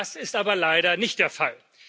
Das ist aber leider nicht der Fall.